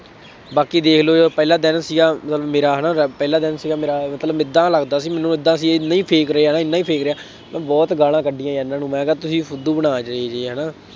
ਬਾਕੀ ਦੇ਼ਖ ਲਉ ਜੋ ਪਹਿਲਾ ਦਿਨ ਸੀਗਾ ਮਤਲਬ ਮੇਰਾ ਹੈ ਨਾ ਜਦ ਪਹਿਲਾ ਦਿਨ ਸੀਗਾ ਮੇਰਾ, ਮੈਨੂੰ ਏਦਾਂ ਲੱਗਦਾ ਸੀ ਮੈਨੂੰ ਏਦਾਂ ਸੀ ਇਹ fake ਰਿਹਾ, ਨਹੀ fake ਰਿਹਾ। ਮੈਂ ਬਹੁਤ ਗਾਲਾਂ ਕੱਢੀਆਂ ਇਹਨਾ ਨੂੰ ਮੈਂ ਕਿਹਾ ਤੁਸੀਂ ਬਣਾ ਜਾਈਦੇ ਆ, ਹੈ ਨਾ।